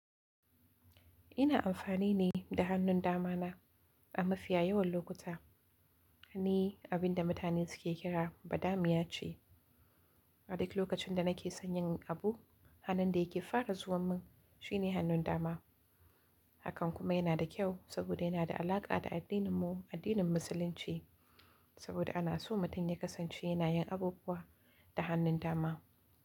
Ina amfani ne da hannun dama na a mafiya yawan lokuta. Ni abin da mutane suke kira badamiya ce. A duk lokacin da nake son yin abu, hannun da yake fara zuwa min shine hannun dama. Hakan kuma yana da kyau, saboda yana da alaƙa da addininmu, addinin musulunci, saboda ana so mutum ya kasance yana yin abubuwa da hannun dama.